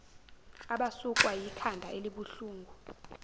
abasukwa yikhanda elibuhlungu